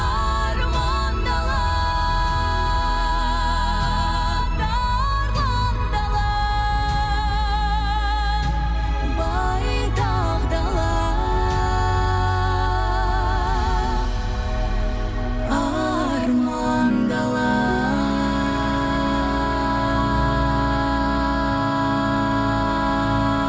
арман дала тарлан дала байтақ дала арман дала